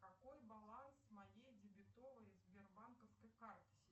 какой баланс моей дебетовой сбербанковской карты